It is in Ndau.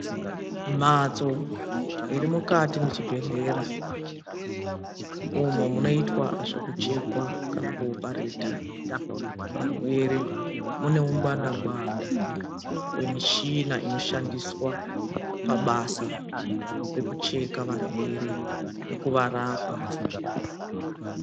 Mhatso irimukati muchibhedhlera, umo munoitwa zvekuchekwa kana kuopareta varwere. Mune ungwanda ngwanda hwemichina inoshandiswa pabasa rekucheka varwere nekuvarapa.